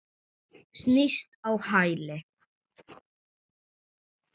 Snýst á hæli.